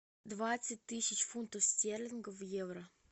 двадцать тысяч фунтов стерлингов в евро